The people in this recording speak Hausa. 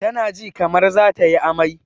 Ta na ji kamar za tayi amai